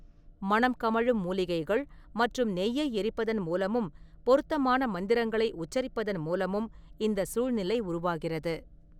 மணம் கமழும் மூலிகைகள் மற்றும் நெய்யை எரிப்பதன் மூலமும், பொருத்தமான மந்திரங்களை உச்சரிப்பதன் மூலமும் இந்த சூழ்நிலை உருவாகிறது.